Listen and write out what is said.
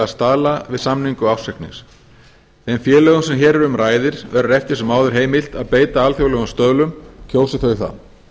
staðla við samningu ársreiknings þeim félögum sem hér um ræðir verður eftir sem áður heimilt að beita alþjóðlegum stöðlum kjósi þau það